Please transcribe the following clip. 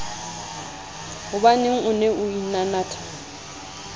hobaneng o ne o inanatha